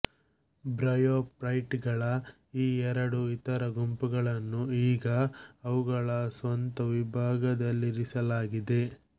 ಬ್ರಯೋಫೈಟ್ಗಳ ಈ ಎರಡು ಇತರ ಗುಂಪುಗಳನ್ನು ಈಗ ಅವುಗಳ ಸ್ವಂತ ವಿಭಾಗದಲ್ಲಿರಿಸಲಾಗಿದೆ